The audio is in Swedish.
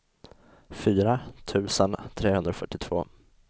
fyra tusen trehundrafyrtiotvå